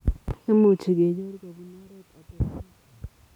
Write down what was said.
Imuchu kenyor kobun oreet otosomol .